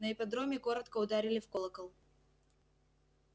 на ипподроме коротко ударили в колокол